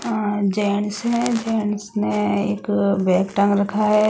अ gents हैं gents ने एक बैग टांग रखा हैं ।